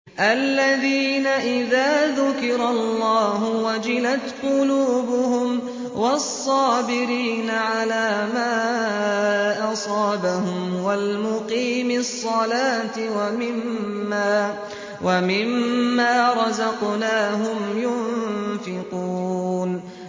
الَّذِينَ إِذَا ذُكِرَ اللَّهُ وَجِلَتْ قُلُوبُهُمْ وَالصَّابِرِينَ عَلَىٰ مَا أَصَابَهُمْ وَالْمُقِيمِي الصَّلَاةِ وَمِمَّا رَزَقْنَاهُمْ يُنفِقُونَ